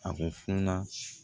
A ko funa